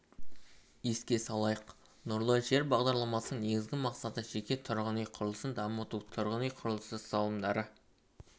еске салайық нұрлы жер бағдарламасының негізгі мақсаты жеке тұрғын үй құрылысын дамыту тұрғын үй құрылысы салымдары